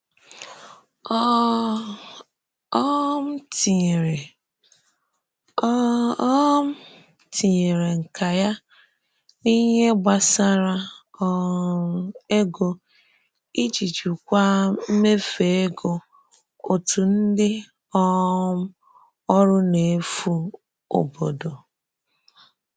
Ọ um ọ tinyèrè Ọ um tinyèrè nka ya n’ihe gbasàrà um ego iji jikwaa mmefu ego òtù ndị um ọrụ n’efu obodo.